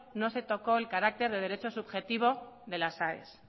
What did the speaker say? no se tocó el carácter de derecho subjetivo de las aes